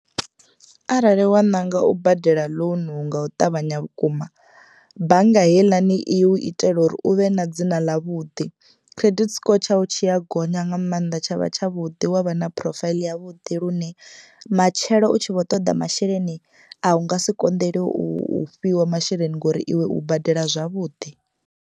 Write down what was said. Arali wa ṋanga u badela ḽounu nga u ṱavhanya vhukuma bannga heiḽani i u itela uri uvhe na dzina ḽa vhuḓi. Credit score tshaṋu tshi a gonya nga maanḓa tshavha tshavhuḓi wa vha na phurofaiḽi yavhuḓi lune matshelo u tshi vho toḓa masheleni a u nga si konḓeliwe u fhiwa masheleni ngori iwe u badela zwavhuḓi.